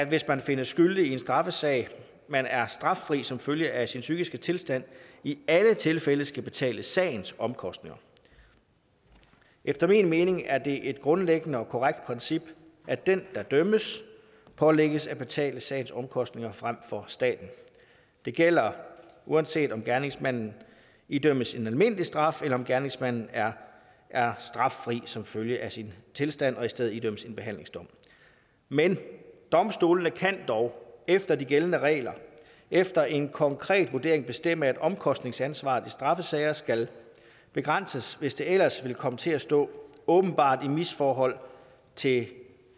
hvis man findes skyldig i en straffesag men er straffri som følge af sin psykiske tilstand i alle tilfælde skal betale sagens omkostninger efter min mening er det et grundlæggende og korrekt princip at den der dømmes pålægges at betale sagens omkostninger frem for staten det gælder uanset om gerningsmanden idømmes en almindelig straf eller om gerningsmanden er er straffri som følge af sin tilstand og i stedet idømmes en behandlingsdom men domstolene kan dog efter de gældende regler efter en konkret vurdering bestemme at omkostningsansvaret i straffesager skal begrænses hvis det ellers vil komme til at stå åbenbart i misforhold til